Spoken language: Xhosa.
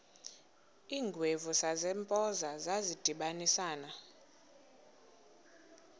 iingwevu zasempoza zadibanisana